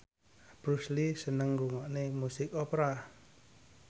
Bruce Lee seneng ngrungokne musik opera